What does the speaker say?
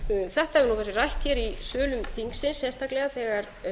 þetta hefur nú verið rætt hér í sölum þingsins sérstaklega þegar